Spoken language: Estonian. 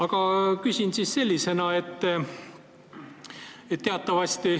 Aga küsin siis selliselt.